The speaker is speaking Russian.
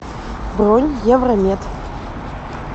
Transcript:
бронь евромед